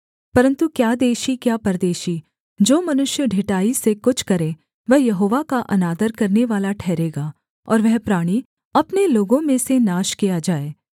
परन्तु क्या देशी क्या परदेशी जो मनुष्य ढिठाई से कुछ करे वह यहोवा का अनादर करनेवाला ठहरेगा और वह प्राणी अपने लोगों में से नाश किया जाए